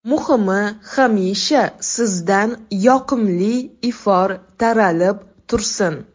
Muhimi, hamisha sizdan yoqimli ifor taralib tursin.